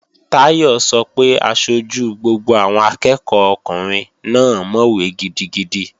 Táyọ̀ sọ pé aṣojú gbogbo àwọn akẹ́ẹ̀kọ́ ọkùnrin náà mọ̀wé gidigidi